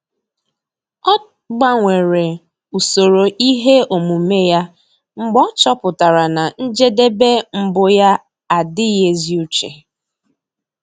Ọ́ gbanwere usoro ihe omume ya mgbe ọ́ chọ́pụ̀tárà na njedebe mbụ yá ádị́ghị́ ézi úché.